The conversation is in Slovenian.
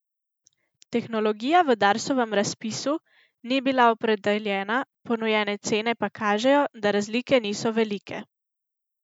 Tehnologija v Darsovem razpisu ni bila opredeljena, ponujene cene pa kažejo, da razlike niso velike.